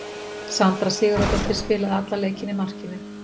Sandra Sigurðardóttir spilaði allan leikinn í markinu.